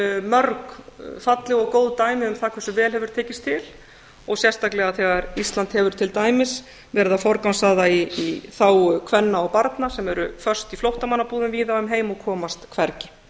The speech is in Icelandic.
mörg falleg og góð dæmi um það hversu vel hefur tekist til og sérstaklega þegar ísland hefur til dæmis verið að forgangsraða í þágu kvenna og barna sem eru föst í flóttamannabúðum víða um heim og komast hvergi